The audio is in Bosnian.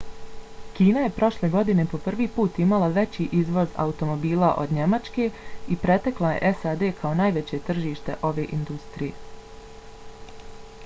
kina je prošle godine po prvi put imala veći izvoz automobila od njemačke i pretekla je sad kao najveće tržište ove industrije